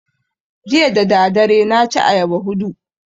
Jiya dadadare na ci ayaba hudu